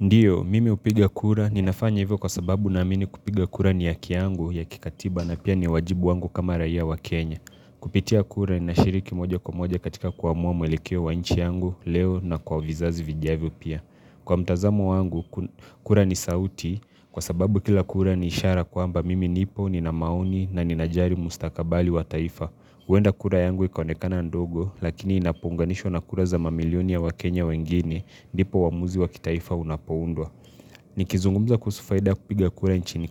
Ndiyo, mimi hupiga kura. Ninafanya hivyo kwa sababu na amini kupiga kura ni haki yangu ya kikatiba na pia ni wajibu wangu kama raia wa Kenya. Kupitia kura ninashiriki moja kwa moja katika kuamua mwelekeo wa inchi yangu leo na kwa vizazi vijavyo pia. Kwa mtazamo wangu, kura ni sauti kwa sababu kila kura ni ishara kwa mba mimi nipo ni na maoni na ninajalili mustakabali wa taifa. Huwenda kura yangu ikaonekana ndogo lakini inapounganishwa na kura za mamilioni ya wa Kenya wengine ndipo uamuzi wa kitaifa unapoundwa Nikizungumza kuhusu faida ya kupiga kura nchini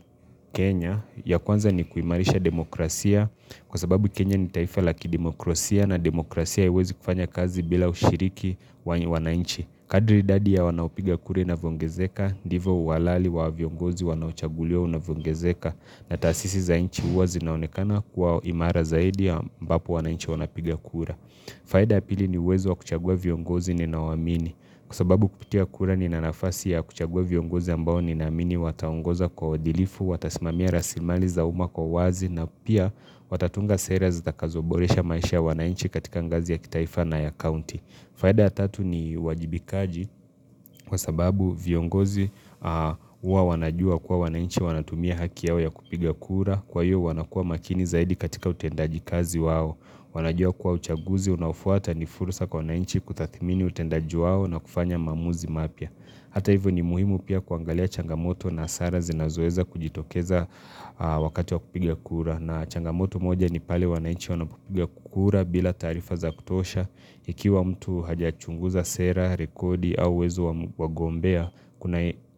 Kenya ya kwanza ni kuimarisha demokrasia Kwa sababu Kenya ni taifa laki demokrasia na demokrasia haiwezi kufanya kazi bila ushiriki wanainchi Kadri idadi ya wanaopiga kura wanavyo ongezeka ndivo uhalali wa viongozi wanao chaguliwa unavyoongezeka na taasisi za inchi huwa zinaonekana kuwa imara zaidi ya ambapo wanainchi wanapiga kura faida ya pili ni uwezo wa kuchagua viongozi ninao waamini Kwasababu kupitia kura nina nafasi ya kuchagua viongozi ambao ni na amini Wataongoza kwa uadilifu, watasimamia rasimali za uma kwa uwazi na pia watatunga sera zitakazoboresha maisha ya wanainchi katika ngazi ya kitaifa na ya county faida ya tatu ni uwajibikaji kwa sababu viongozi huwa wanajua kuwa wanainchi wanatumia haki yao ya kupiga kura. Kwa hiyo wanakua makini zaidi katika utendaji kazi wao. Wanajua kuwa uchaguzi unaofuata ni furusa kwa wanainchi kutathimini utendaji wao na kufanya maamuzi mapya. Hata hivyo ni muhimu pia kuangalia changamoto na hasara zinazoweza kujitokeza wakati wa kupiga kura. Na changamoto moja ni pale wanainchi wanapopiga kura bila taarifa za kutosha. Ikiwa mtu hajachunguza sera, rekodi au uwezo wa wagombea,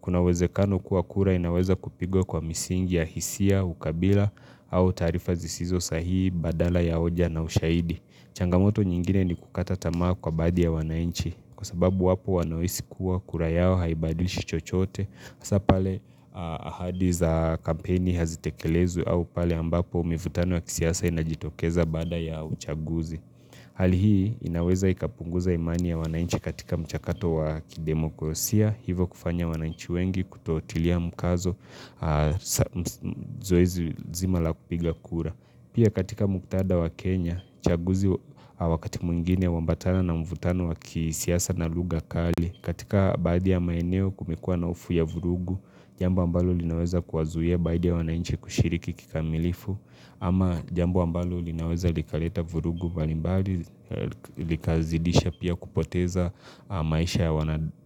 kuna uwezekano kuwa kura inaweza kupigwa kwa misingi ya hisia, ukabila au taarifa zisizo sahihi, badala ya hoja na ushahidi. Changamoto nyingine ni kukata tamaa kwa baadhi ya wanainchi Kwa sababu wapo wanaohisi kuwa kura yao haibadilishi chochote Hasa pale ahadi za kampeni hazitekelezwi au pale ambapo mivutano ya kisiasa inajitokeza baada ya uchaguzi Hali hii inaweza ikapunguza imani ya wananchi katika mchakato wa kidemokrosia Hivo kufanya wanainchi wengi kutotilia mkazo Zoezi zima la kupiga kura Pia katika muktadha wa Kenya, chaguzi wakati mwingine huambatana na mvutano wa kisiasa na lugha kali. Katika baadhi ya maeneo kumekuwa na hofu ya vurugu, jambo ambalo linaweza kuwazuia baadhi ya wananchi kushiriki kikamilifu. Ama jambo ambalo linaweza likaleta vurugu mbalimbali, likazidisha pia kupoteza maisha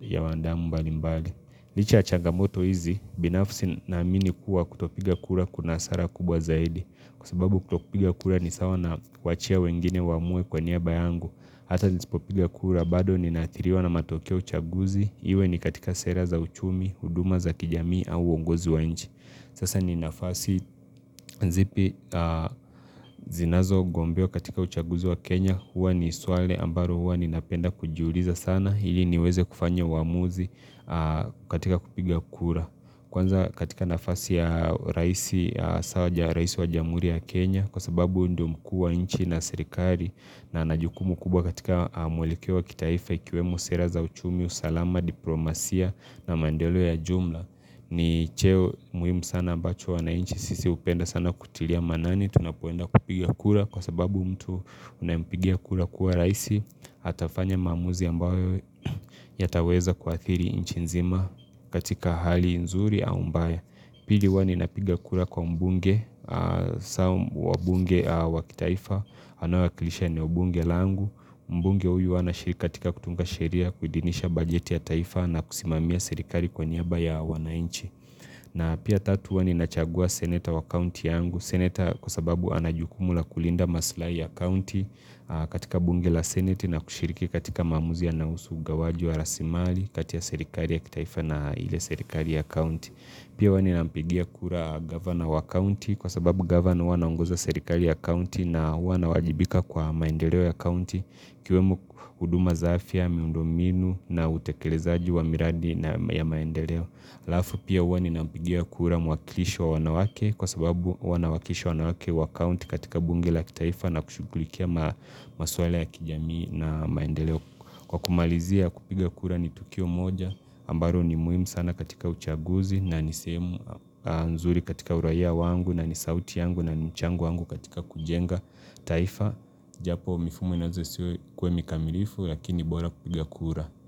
ya wanadamu mbalimbali. Licha ya changamoto hizi, binafsi na amini kuwa kutopiga kura kuna hasara kubwa zaidi. Kwa sababu kutopiga kura ni sawa na kuwaachia wengine waamue kwa niaba yangu. Hata nisipopiga kura bado ni naathiriwa na matokeo uchaguzi. Iwe ni katika sera za uchumi, huduma za kijamii au uongozi wa nchi. Sasa ni nafasi zipi zinazo gombewa katika uchaguzi wa Kenya. Huwa ni swali ambalo huwa ninapenda kujiuliza sana. Ili niweze kufanya uamuzi katika kupiga kura Kwanza katika nafasi ya raisi wa jamhuri ya Kenya Kwa sababu ndo mku wa inchi na serikali na anajukumu kubwa katika mwelekeo wa kitaifa Ikiwemo sera za uchumi, usalama, diplomasia na maendeleo ya jumla ni cheo muhimu sana ambacho wana inchi sisi hupenda sana kutilia maanani Tunapoenda kupiga kura Kwa sababu mtu unampigia kura kuwa raisi atafanya maamuzi ambayo yataweza kuathiri inchinzima katika hali nzuri au mbaya Pili huwa ninapiga kura kwa mbunge wabunge wakitaifa Anae wakilisha ni mbunge langu Mbunge huyu anashiri katika kutunga sheria kuidhinisha bajeti ya taifa na kusimamia sirikali kwa niaba ya wanainchi na pia tatu huwa ninachagua seneta wa kaunti yangu Seneta kwa sababu anajukumu la kulinda maslahi ya county katika bunge la seneti na kushiriki katika maamuzi yanayohusu ugawaji wa rasimali kati ya serikali ya kitaifa na ile serikali ya county Pia huwa nina mpigia kura governor wa county kwa sababu governor wanaongoza serikali ya county na wana wajibika kwa maendeleo ya county kiweme huduma za afya, miundominu na utekelezaji wa miradi ya maendeleo Lafu pia wani nampigia kura mu wakilishi wa wanawake kwa sababu wanawakisha wanawake wa county katika bunge la kitaifa na kushughulikia masuala ya kijamii na maendeleo kwa kumalizia kupiga kura ni Tukio moja ambalo ni muhimu sana katika uchaguzi na ni sehemu nzuri katika uraia wangu na nisauti yangu na mchango wangu katika kujenga taifa japo mifumo inaweza isiwe kwemi kamilifu lakini bora kupiga kura.